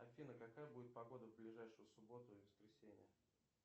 афина какая будет погода в ближайшую субботу и воскресенье